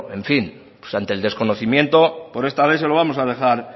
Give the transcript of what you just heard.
en fin pues ante el desconocimiento por esta vez se lo vamos a dejar